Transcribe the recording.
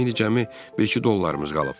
İndi cəmi bir-iki dollarımız qalıb.